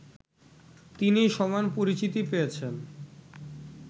তিনি সমান পরিচিতি পেয়েছেন